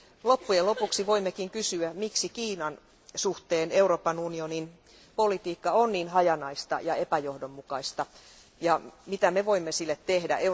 Loppujen lopuksi voimmekin kysyä, miksi Kiinan suhteen Euroopan unionin politiikka on niin hajanaista ja epäjohdonmukaista ja mitä me voimme sille tehdä?